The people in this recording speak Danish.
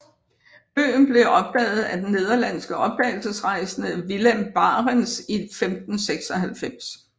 Øen blev opdaget af den nederlandske opdagelsesrejsende Willem Barents i 1596